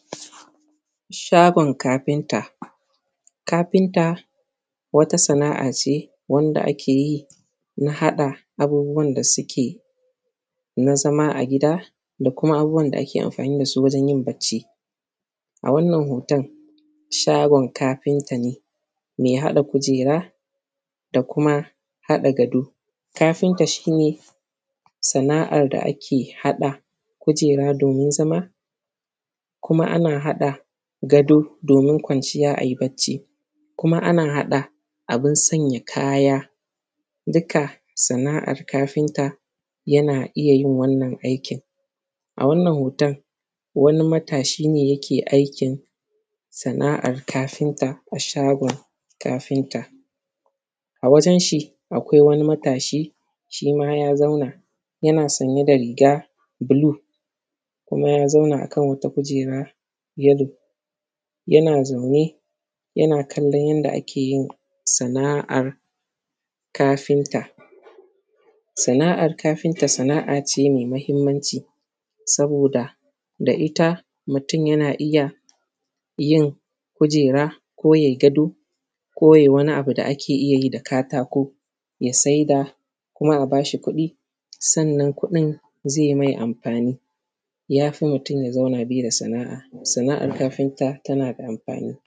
Shagon kafinta kafinta wata sana`a ce wanda ake yi na haɗa abubuwan da suke na zama a gida da kuma abubuwan da ake amfani da su wajen yin barci a wannan hoton shagon kafinta ne mai haɗa kujera da kuma haɗa gado, kafinta shi ne sana`ar da ake haɗa kujera domin zama, kuma ana haɗa gado domin kwanciya ayi barci, kuma kuma ana haɗa abin sanya kaya dukka sana`ar kafinta yana iya yin wannan aikin A wannan hoton wani matashi ne yake aikin sana`ar kafinta a shagon kafinta a wajen shi akwai wani matashi shi ma ya zauna yana sanye da riga blue kuma ya zauna a kan wata kujera yellow yana zaune yana kallon yanda ake yin sana`ar kafinta Sana`ar kafinta sana`a ce mai mahimmanci saboda da ita mutum yana iya yin kujera ko yai gado ko yai wani abu da ake iya yi da katako ya saida kuma a bashi kuɗi sannan kuɗin zai mai amfani ya fi mutum ya zauna bai da sana`a, sana`ar kafinta tana da amfani.